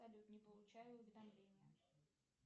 салют не получаю уведомления